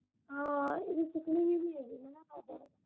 ਹਾਂ ਇਹਨੇ ਸਿੱਖਣੀ ਵੀ ਨਈਂ ਹੈਗੀ ਹਨਾ ਅਵਲ।